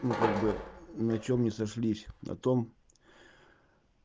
ну как бы на чём не сошлись на том